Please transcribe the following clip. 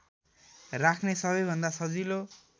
राख्ने सबैभन्दा सजिलो